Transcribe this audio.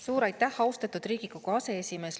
Suur aitäh, austatud Riigikogu aseesimees!